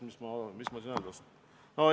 Mis ma siin öelda oskan?